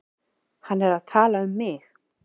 Hann er að tala um mig.